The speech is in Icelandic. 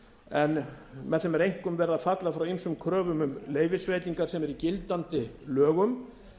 en með þeim einkum verið að falla frá ýmsum kröfum um leyfisveitingar sem eru í gildandi lögum